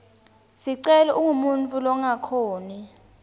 sicelo ungumuntfu longakhoni